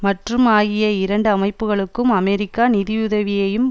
மற்றும் ஆகிய இரண்டு அமைப்புக்களுக்கும் அமெரிக்கா நிதியுதவியையும்